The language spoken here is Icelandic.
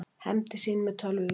Hefndi sín með tölvuvírus